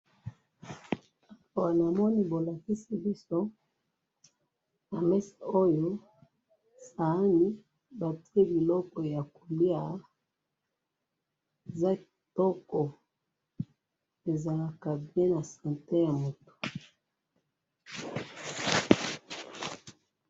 namoni bolakisi biso na mesa oyo sahani batiye biloko ya koliya eza kitoko ezalaka bien na sante ya mutu